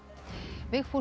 Vigfús